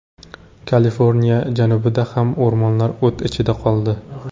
Kaliforniya janubida ham o‘rmonlar o‘t ichida qoldi.